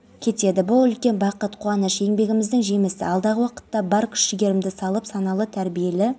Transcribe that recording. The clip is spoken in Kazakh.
пәкістан мешітінде болған жарылыс салдарынан адам қаза тапты синоптиктер маусымға арналған ауа-райы болжамы жариялады шымкенттегі мұнай